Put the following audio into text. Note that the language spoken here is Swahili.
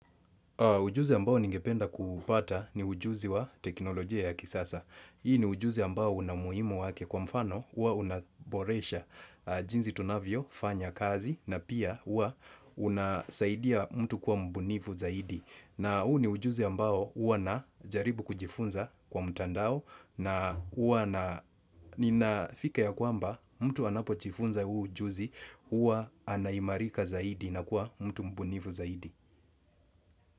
Ujuzi ambao ningependa kuupata ni ujuzi wa teknolojia ya kisasa. Hii ni ujuzi ambao una umuhimu wake kwa mfano, hua unaboresha jinzi tunavyofanya kazi, na pia hua unasaidia mtu kuwa mbunifu zaidi. Na huu ni ujuzi ambao hua najaribu kujifunza kwa mtandao, na hua na ninafika ya kwamba mtu anapo jifunza huu ujuzi, hua anaimarika zaidi na kwa mtu mbunifu zaidi.